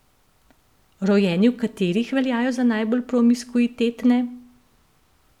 Rojeni v katerih veljajo za najbolj promiskuitetne?